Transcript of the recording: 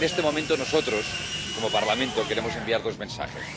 En este momento, nosotros, como Parlamento, queremos enviar dos mensajes.